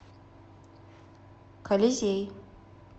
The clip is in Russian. колизей